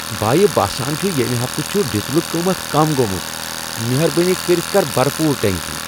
بایہِ ، باسان چُھ ییٚمہِ ہفتہٕ چُھ ڈیزلُک قۭمتھ كم گومُت۔ مہربٲنی کٔرِتھ کر بھر پوٗرٕ ٹینکی ۔